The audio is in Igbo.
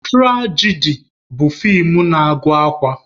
Turajadi bụ fii na-agụ akwa.